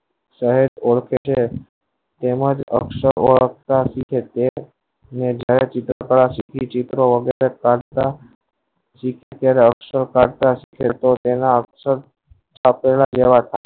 સાહેબ ઓળખે છે તેમજ અક્ષરો વાળા ને જાહેર કરવા માં આવે છે ચિત્ર વગર ચાલવા ચિત્ર અક્ષર સાથે અક્ષર જેવા થાય